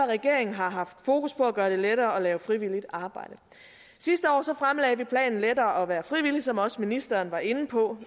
regeringen har haft fokus på at gøre det lettere at lave frivilligt arbejde sidste år fremlagde vi planen lettere at være frivillig som også ministeren var inde på